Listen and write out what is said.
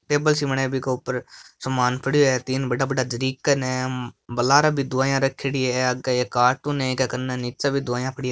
टेबल सी बनाई बीके ऊपर सामान पड़ियो है तीन बड़ा बड़ा जरीकन है बा लारे भी दवाइयां रखयोड़ी है आगे एक कार्टून है इक कने नीचे भी दवाइयाँ पड़ी है।